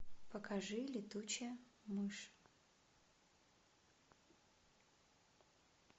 покажи летучая мышь